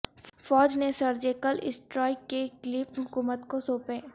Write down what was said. فوج نے surgical strike کے کلپ حکومت کو سونپے